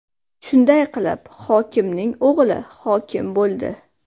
Shunday qilib, hokimning o‘g‘li hokim bo‘ldi.